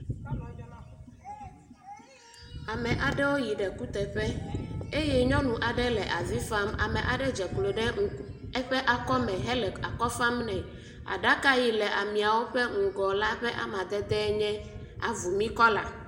Ame aɖewo yi ɖe ekuteƒe eye nyɔnu aɖe le afi vam, eye ame aɖe dzeklo ɖe eƒe akɔme hele akɔ fam nɛ, aɖaka yi le ameawo ƒe ŋgɔ la ƒe amadedee nye avumi kɔla